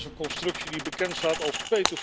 Dat is een constructie die bekend staat als